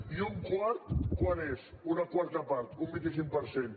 i un quart quant és una quarta part un vint cinc per cent